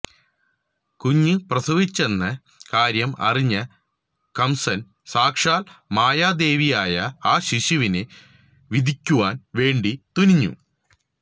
കുഞ്ഞ് പ്രസവിച്ചുവെന്ന കാര്യം അറിഞ്ഞ കംസൻ സാക്ഷാൽ മായാദേവിയായ ആ ശിശുവിനെ വിധിക്കുവാൻ വേണ്ടി തുനിഞ്ഞു